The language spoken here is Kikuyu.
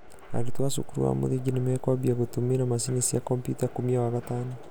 arutwo a cukuru wa mũthingi nĩmakwambia gũtumĩra macini cia komputa kumia wagatano.